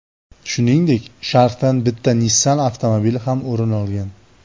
Shuningdek, sharhdan bitta Nissan avtomobili ham o‘rin olgan.